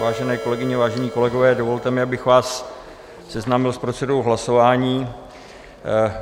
Vážené kolegyně, vážení kolegové, dovolte mi, abych vás seznámil s procedurou hlasování.